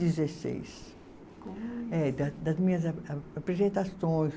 Dezesseis. Como. É da das minhas a apresentações.